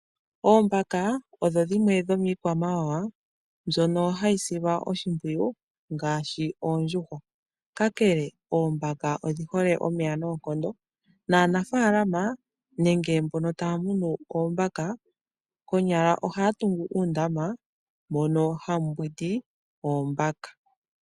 Oombaka odho dhimwe dhomii kwamawawa mbyoka hayi silwa oshimpwiyu ngaashi oondjuhwa, kakele oombaka odhihole omeya noonkondo naanafaalama nenge mbono taya munu oombaka konyala ohaya tungu uundma mono hamu mbwidi oombaka.